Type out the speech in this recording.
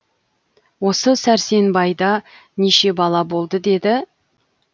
осы сәрсенбайда неше бала болды деді